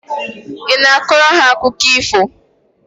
Ị na-akọrọ ha akụkọ ifo?